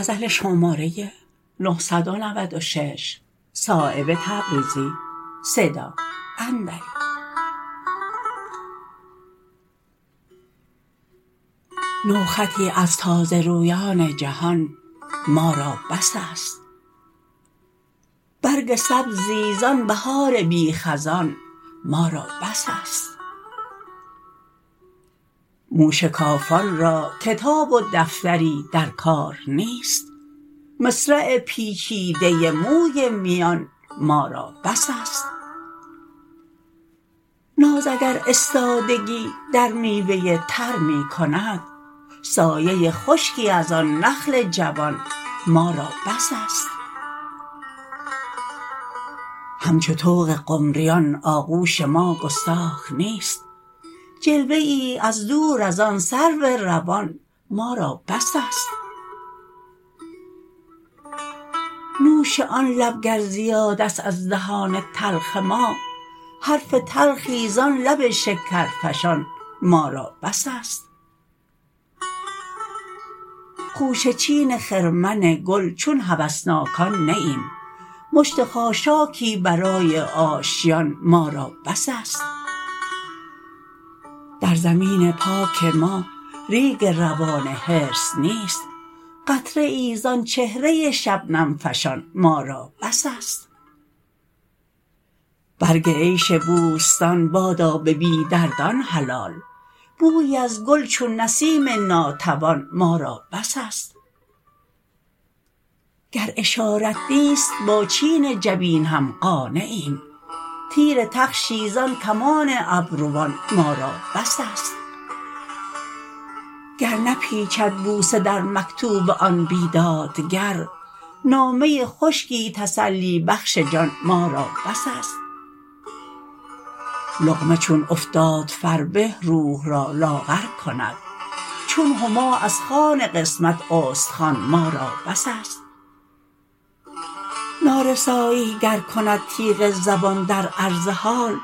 نوخطی از تازه رویان جهان ما را بس است برگ سبزی زان بهار بی خزان ما را بس است موشکافان را کتاب و دفتری در کار نیست مصرع پیچیده موی میان ما را بس است ناز اگر استادگی در میوه تر می کند سایه خشکی ازان نخل جوان ما را بس است همچو طوق قمریان آغوش ما گستاخ نیست جلوه ای از دور ازان سرو روان ما را بس است نوش آن لب گر زیادست از دهان تلخ ما حرف تلخی زان لب شکرفشان ما را بس است خوشه چین خرمن گل چون هوسناکان نه ایم مشت خاشاکی برای آشیان ما را بس است در زمین پاک ما ریگ روان حرص نیست قطره ای زان چهره شبنم فشان ما را بس است برگ عیش بوستان بادا به بی دردان حلال بویی از گل چون نسیم ناتوان ما را بس است گر اشارت نیست با چین جبین هم قانعیم تیر تخشی زان کمان ابروان ما را بس است گر نپیچد بوسه در مکتوب آن بیدادگر نامه خشکی تسلی بخش جان ما را بس است لقمه چون افتاد فربه روح را لاغر کند چون هما از خوان قسمت استخوان ما را بس است نارسایی گر کند تیغ زبان در عرض حال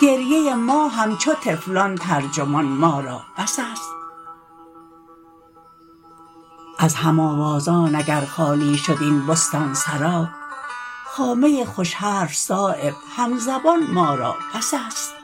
گریه ما همچو طفلان ترجمان ما را بس است از هم آوازان اگر خالی شد این بستانسرا خامه خوش حرف صایب همزبان ما را بس است